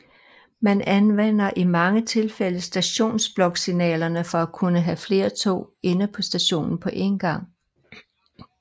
Man anvender i mange tilfælde stationsbloksignalerne for at kunne have flere tog inde på stationen på én gang